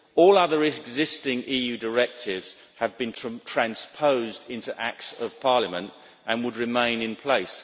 All other existing EU directives have been transposed into acts of parliament and would remain in place.